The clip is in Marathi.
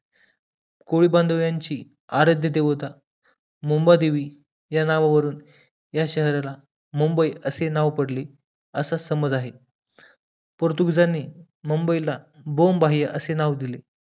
कोळी बांधव यांचे आराध्य देवता मुंबादेवी या नावावरुवून या शहराला मुंबई असे नाव पडले असं समज आहे पोर्तुगीजांनी मुंबई ला बॉम्बही असे नाव दिले